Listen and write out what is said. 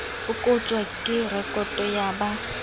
e kotjwang ke rekoto ya